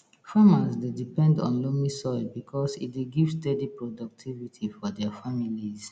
farmers dey depend on loamy soil because e dey give steady productivity for dia families